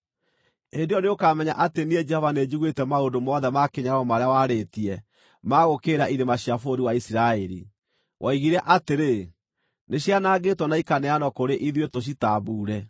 Hĩndĩ ĩyo nĩũkamenya atĩ niĩ Jehova nĩnjiguĩte maũndũ mothe ma kĩnyararo marĩa warĩtie ma gũũkĩrĩra irĩma cia bũrũri wa Isiraeli. Woigire atĩrĩ, “Nĩcianangĩtwo na ikaneanwo kũrĩ ithuĩ tũcitambuure.”